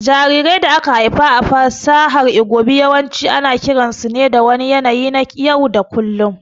Jarirai da aka haifa a ƙasar Igbo yawanci ana kiransu ne da wani yanayi na yau da kullum